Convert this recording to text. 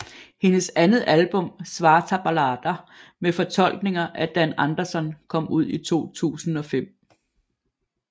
Hendes andet album Svarta Ballader med fortolkninger af Dan Andersson kom ud i 2005